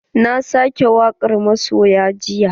Na sake wakar masoya jiya.